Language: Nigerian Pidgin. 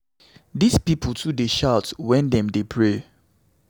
Dis people too dey shout wen dem dey pray.